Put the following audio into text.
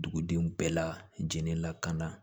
Dugudenw bɛɛ la jinɛlakana